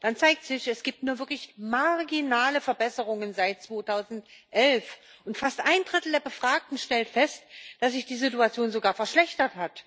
dann zeigt sich Es gibt wirklich nur marginale Verbesserungen seit 2011, und fast ein Drittel der Befragten stellt fest, dass sich die Situation sogar verschlechtert hat.